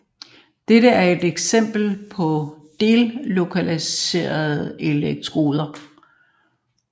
Dette er et eksempel på delokaliserede elektroner